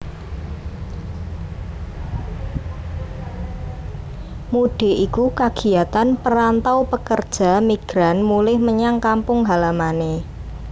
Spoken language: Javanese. Mudik iku kagiatan perantau pekerja migran mulih menyang kampung halamané